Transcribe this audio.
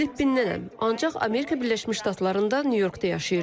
Filippindənəm, ancaq Amerika Birləşmiş Ştatlarında, Nyu-Yorkda yaşayıram.